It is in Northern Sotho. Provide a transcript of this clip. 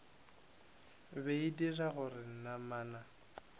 be e dira gore namana